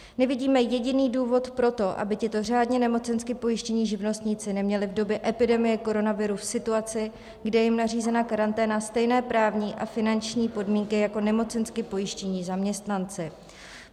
Nevidíme jediný důvod pro to, aby tito řádně nemocensky pojištění živnostníci neměli v době epidemie koronaviru v situaci, kdy je jim nařízena karanténa, stejné právní a finanční podmínky jako nemocensky pojištění zaměstnanci.